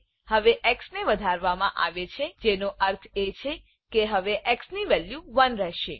હવે એક્સ ને વધારવા માં આવે છે જેનો અર્થ એ છે કે હવે એક્સ ની વેલ્યુ 1 રહેશે